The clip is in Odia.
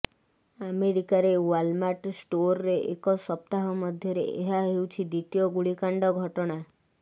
ଆମେରିକାରେ ୱାଲ୍ମାର୍ଟ ଷ୍ଟୋର୍ରେ ଏକ ସପ୍ତାହ ମଧ୍ୟରେ ଏହା ହେଉଛି ଦ୍ୱିତୀୟ ଗୁଳିକାଣ୍ଡ ଘଟଣା